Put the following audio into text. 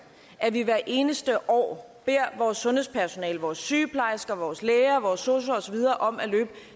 at vi hvert eneste år beder vores sundhedspersonale vores sygeplejersker vores læger vores sosuer osv om at løbe